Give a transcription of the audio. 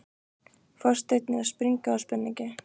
Forsetinn er að springa úr spenningi.